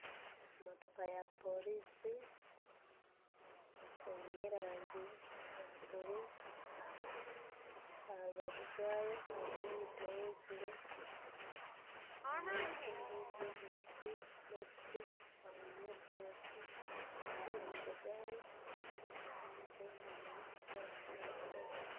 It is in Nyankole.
Emootoka ya poorisi eine erangi ya buru aha rubaju rwayo hariyo emiti eyeziire haine emiti endiijo emibisti n'ebistyo hariyo orutookye n'omumaisho gaayo hariyo emootoka endiijo eyemereire ey'erangi erikwera.